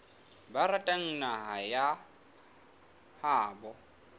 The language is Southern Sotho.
ba ratang naha ya habo